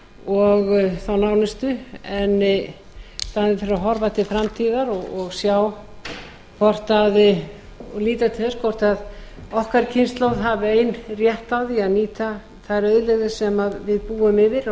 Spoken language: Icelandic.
og þá næstu en í staðinn fyrir að horfa til framtíðar og líta til þess hvort okkar kynslóð hafi eins rétt á því að nýta þær auðlegðir sem við búum yfir og landið